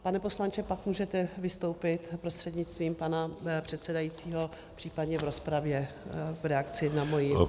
Pane poslanče , pak můžete vystoupit prostřednictvím pana předsedajícího případně v rozpravě v reakci na moji -